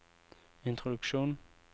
introduksjon